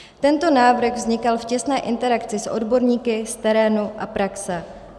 Tento návrh vznikal v těsné interakci s odborníky z terénu a praxe.